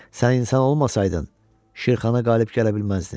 Sən insan olmasaydın, Şirxana qalib gələ bilməzdin.